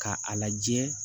Ka a lajɛ